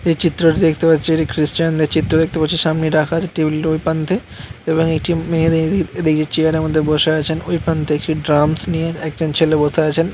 এই চিত্রটি দেখতে পাচ্ছি এটি খ্রিস্টানদের চিত্র দেখতে পাচ্ছি। সামনে রাখা আছে টেবিলট ওই প্রান্তে এবং একটি মেয়ে দে দে এদিকের চেয়ারের মধ্যে বসে আছেন। ওই প্রান্তে একটি ড্রামস নিয়ে একজন ছেলে বসে আছেন।